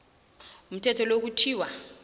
umthetho lo kuthiwa